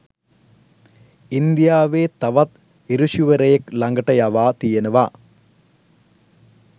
ඉන්දියාවේ තවත් ඍෂිවරයෙක් ළඟට යවා තියෙනවා